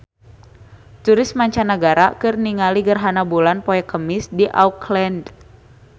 Turis mancanagara keur ningali gerhana bulan poe Kemis di Auckland